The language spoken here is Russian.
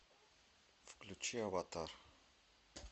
включи аватар